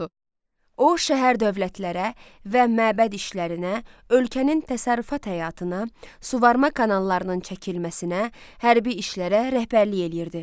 O, şəhər dövlətlərə və məbəd işlərinə, ölkənin təsərrüfat həyatına, suvarma kanallarının çəkilməsinə, hərbi işlərə rəhbərlik eləyirdi.